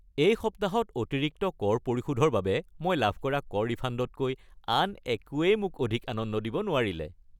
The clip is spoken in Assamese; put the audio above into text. এই সপ্তাহত অতিৰিক্ত কৰ পৰিশোধৰ বাবে মই লাভ কৰা কৰ ৰিফাণ্ডতকৈ আন একোৱেই মোক অধিক আনন্দ দিব নোৱাৰিলে।